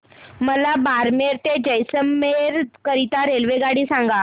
मला बारमेर ते जैसलमेर करीता रेल्वेगाडी सांगा